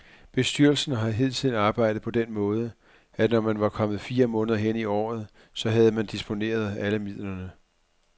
Bestyrelsen har hidtil arbejdet på den måde, at når man var kommet fire måneder hen i året, så havde man disponeret alle midlerne.